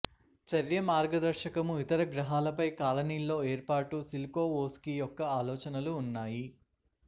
చర్య మార్గదర్శకము ఇతర గ్రహాలపై కాలనీల్లో ఏర్పాటు సిల్కొవోస్కీ యొక్క ఆలోచనలు ఉన్నాయి